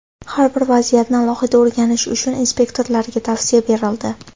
Har bir vaziyatni alohida o‘rganish uchun inspektorlarga tavsiya berildi.